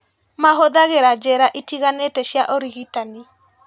Mahũthĩraga njĩra itiganĩte cia ũrigitani